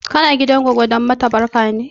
Kana gidan goggo don mata barka ne?